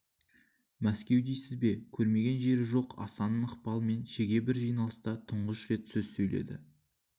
мәскеу дейсіз бе көрмеген жері жоқ асанның ықпалымен шеге бір жиналыста тұңғыш рет сөз сөйледі